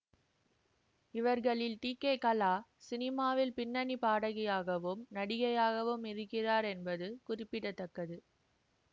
இவர்களில் டிகேகலா சினிமாவில் பின்னணி பாடகியாகவும் நடிகையாகவும் இருக்கிறார் என்பது குறிப்பிட தக்கது